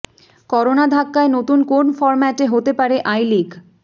corona ধাক্কায় নতুন কোন ফর্ম্যাটে হতে পারে আই লিগ